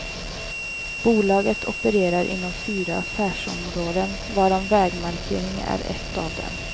Bolaget opererar inom fyra affärsområden, varav vägmarkering är ett av dem.